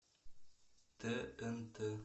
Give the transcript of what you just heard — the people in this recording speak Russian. тнт